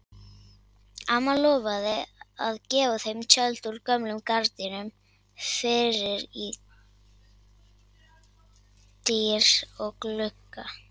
Amma lofaði að gefa þeim tjöld úr gömlum gardínum fyrir dyr og glugga.